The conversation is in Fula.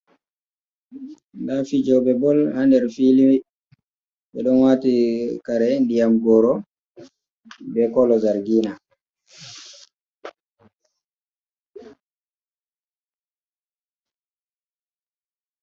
Nda fijoɓe bol ha nder fili, ɓe ɗon wati kare ndiyam goro be kolo zargina.